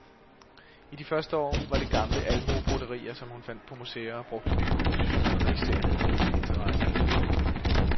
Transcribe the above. I de første år var det gamle almuebroderier, som hun fandt på museer og brugte i nye kompositioner, der især havde hendes interesse.